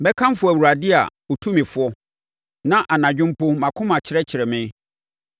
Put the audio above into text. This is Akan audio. Mɛkamfo Awurade a ɔtu me fo; na anadwo mpo mʼakoma kyerɛkyerɛ me.